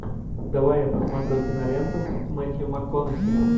давай я посмотрю киноленту с мэттью макконахи